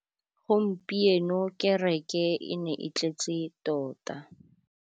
Gompieno kêrêkê e ne e tletse tota.